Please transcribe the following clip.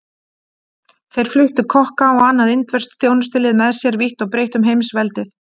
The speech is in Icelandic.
Þeir fluttu kokka og annað indverskt þjónustulið með sér vítt og breitt um heimsveldið.